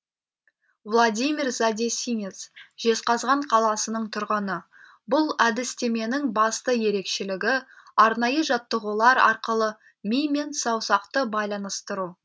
владимир задесинец жезқазған қаласының тұрғыны бұл әдістеменің басты ерекшелігі арнайы жаттығулар арқылы ми мен саусақты байланыстыру